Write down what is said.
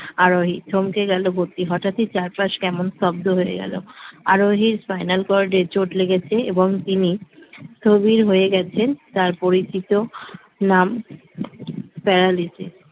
আরোহী থমকে গেল ভর্তি হঠাৎই চার মাস কেমন স্তব্ধ হয়ে গেল আরোহীর spinal cord এ চোট লেগেছে স্থবির হয়ে গেছেন তার পরিচিত নাম paralysis